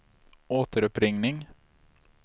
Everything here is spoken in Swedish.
återuppring